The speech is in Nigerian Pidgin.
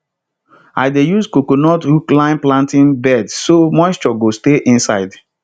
i dey use coconut husk line planting beds so moisture go stay inside